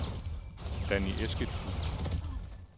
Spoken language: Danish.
Danni Eskildsen